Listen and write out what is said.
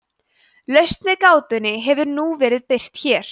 lausn við gátunni hefur nú verið birt hér